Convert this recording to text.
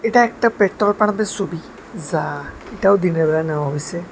এটা একটা পেত্তল পারদের ছবি যা এটাও দিনের বেলা নেয়া হয়েছে।